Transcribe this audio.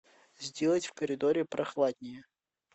сделать в коридоре прохладнее